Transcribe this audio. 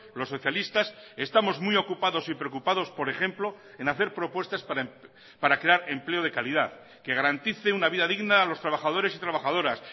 los socialistas estamos muy ocupados y preocupados por ejemplo en hacer propuestas para crear empleo de calidad que garantice una vida digna a los trabajadores y trabajadoras